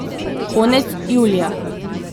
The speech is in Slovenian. Konec julija.